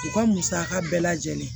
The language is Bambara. U ka musaka bɛɛ lajɛlen